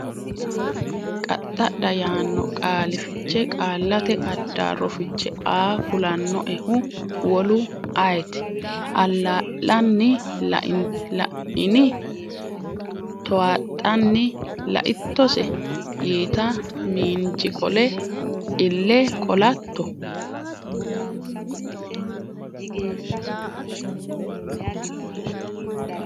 qaxxadha yaanno qaali fiche Qaallate Addaarro Fiche Aa kulannoehu wolu ayeeti? allaa’lanni La’ini? towaaxxanni “Laittose?” yiita, Miinji qole “Ille qolatto?